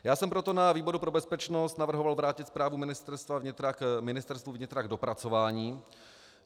Já jsem proto na výboru pro bezpečnost navrhoval vrátit zprávu Ministerstvu vnitra k dopracování.